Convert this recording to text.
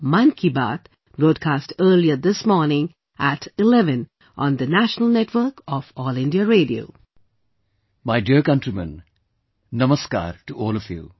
My dear countrymen, Namaskar to all of you